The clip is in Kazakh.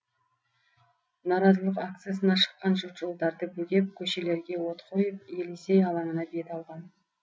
наразылық акциясына шыққан жұрт жолдарды бөгеп көшелерге от қойып елисей алаңына бет алған